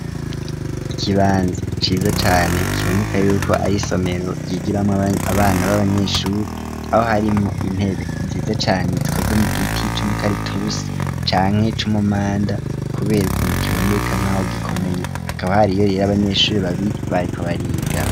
Ikibanza ciza cane kiboneka yuko ari isomero yigiramo abana b'abanyeshuri .Aho harimo intebe nziza cane zikoze mu giti cumukaritusi canke cumumanda ,kubera ukuntu kiboneka nk'aho gikomeye hakaba hari iyo rero abanyeshuri babiri bariko bariga.